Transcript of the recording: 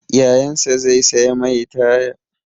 Yayansa zai saya mai taya.